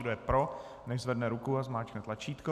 Kdo je pro, nechť zvedne ruku a zmáčkne tlačítko.